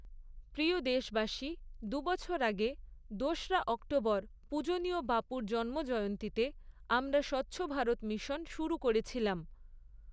প্রিয় দেশবাসী, দু বছর আগে, দোস'রা অক্টোবর পূজণীয় বাপুর জন্মজয়ন্তীতে আমরা স্বচ্ছভারত মিশন শুরু করেছিলাম।